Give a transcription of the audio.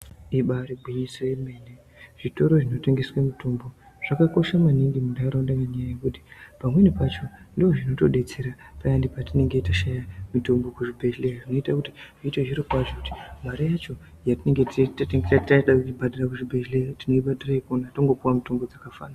Ibari gwinyiso yemene zvitoro zvinotengeswe mitombo zvakakosha maningi muntaraunda ngenyaya yekuti pamweni pacho ndozvinotobetsera payani patinenge tashaya mitombo kuzvibhedhlera. Zvinoita kuti zviite zviro kwazvo mare yacho yatinenge teida kubhadhara kuchibhedhleya tinoibhadhara ikona tongopuva mitombo dzakafanana.